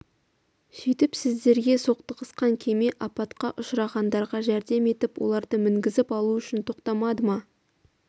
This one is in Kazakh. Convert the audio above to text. сөйтіп сіздерге соқтығысқан кеме апатқа ұшырағандарға жәрдем етіп оларды мінгізіп алу үшін тоқтамады ма